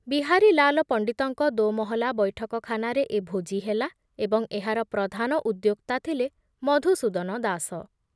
ବିହାରୀଲାଲ ପଣ୍ଡିତଙ୍କ ଦୋମହଲା ବୈଠକଖାନାରେ ଏ ଭୋଜି ହେଲା ଏବଂ ଏହାର ପ୍ରଧାନ ଉଦ୍ୟୋକ୍ତା ଥିଲେ ମଧୁସୂଦନ ଦାସ ।